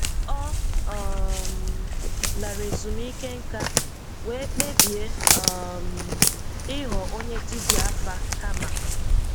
Ọ um lara ezumike nká wee kpebie um ịghọ onye dibịa afa kama.